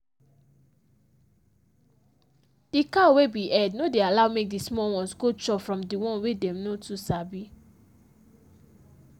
the cow wey be head no dey allow make the small ones go chop from the one wey them no too sabi.